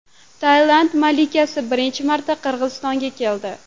Tailand malikasi birinchi marta Qirg‘izistonga keldi.